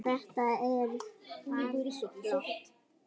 Þetta var bara flott.